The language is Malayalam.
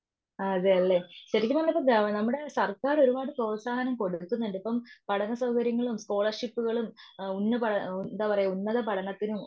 ആ അതെയല്ലേ ശരിക്കും പറഞ്ഞാൽ ഗ്രാ നമ്മുടെ സർക്കാർ ഒരുപാട് പ്രോൽസാഹനം കൊടുക്കുന്നുണ്ടിപ്പോ പഠനസൗകര്യങ്ങളും, സ്കോളർഷിപ്പുകളും ആ എന്താ പറയുക ഉന്നത പഠനത്തിനും